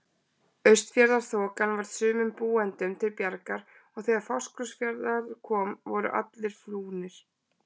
Austfjarðaþokan varð sumum búendum til bjargar og þegar til Fáskrúðsfjarðar kom voru allir flúnir.